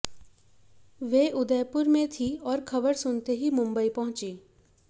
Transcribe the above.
वे उदयपुर में थी और खबर सुनते ही मुंबई पहुंची